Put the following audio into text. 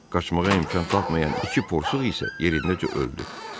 Qaşmağa imkan tapmayan iki porsuq isə yerindəcə öldü.